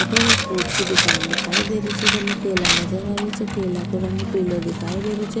अठे एक फुरूट की दुकान दिखाई दे री छे जेमे केला नजर आ रेहा छे केला को रंग पीला नजर आ रो छे।